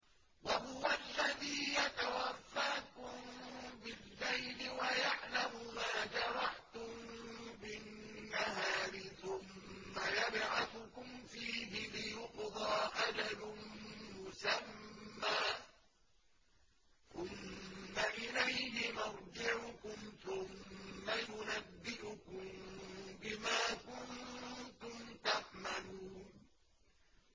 وَهُوَ الَّذِي يَتَوَفَّاكُم بِاللَّيْلِ وَيَعْلَمُ مَا جَرَحْتُم بِالنَّهَارِ ثُمَّ يَبْعَثُكُمْ فِيهِ لِيُقْضَىٰ أَجَلٌ مُّسَمًّى ۖ ثُمَّ إِلَيْهِ مَرْجِعُكُمْ ثُمَّ يُنَبِّئُكُم بِمَا كُنتُمْ تَعْمَلُونَ